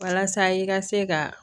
Walasa i ka se ka